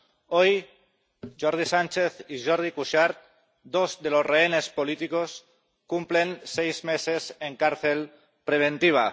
Hoy, Jordi Sànchez y Jordi Cuixart, dos de los rehenes políticos, cumplen seis meses en cárcel preventiva